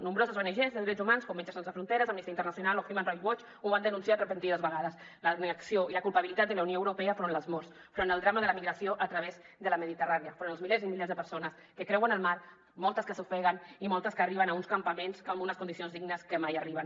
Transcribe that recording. nombroses ongs de drets humans com metges sense fronteres amnistia internacional o human rights watch ho han denunciat repetides vegades la inacció i la culpabilitat de la unió europea front a les morts front al drama de la migració a través de la mediterrània on dels milers i milers de persones que creuen el mar moltes s’ofeguen i moltes arriben a uns campaments amb unes condicions dignes que mai arriben